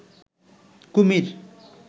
কুমির